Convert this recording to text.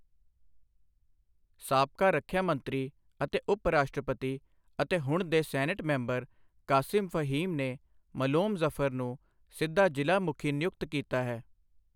ਸਾਬਕਾ ਰੱਖਿਆ ਮੰਤਰੀ ਅਤੇ ਉਪ ਰਾਸ਼ਟਰਪਤੀ ਅਤੇ ਹੁਣ ਦੇ ਸੈਨੇਟ ਮੈਂਬਰ ਕਾਸਿਮ ਫਹੀਮ ਨੇ ਮਲੋਮ ਜ਼ਫ਼ਰ ਨੂੰ ਸਿੱਧਾ ਜ਼ਿਲ੍ਹਾ ਮੁਖੀ ਨਿਯੁਕਤ ਕੀਤਾ ਹੈ।